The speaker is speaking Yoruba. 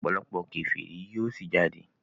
òpòlopò keferi yíò sí jáde.